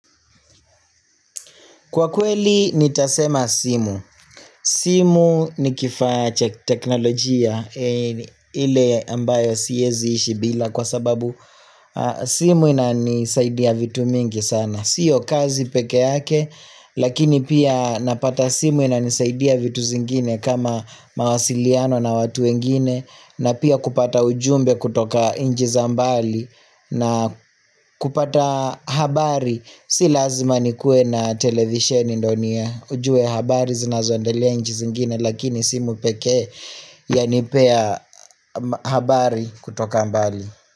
Kwa kweli nitasema simu. Simu ni kifaaa cha teknolojia ile ambayo siyezi ishi bila kwa sababu simu ina nisaidia vitu mingi sana. Sio kazi peke yake lakini pia napata simu ina nisaidia vitu zingine kama mawasiliano na watu wengine na pia kupata ujumbe kutoka inchi za mbali na kupata habari. Habari, si lazima nikue na televisheni ndio niya. Ujue habari zina zondelea nchi zingine lakini simu pekee yanipea habari kutoka mbali.